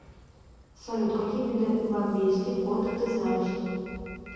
салют какие виды бомбейский кот ты знаешь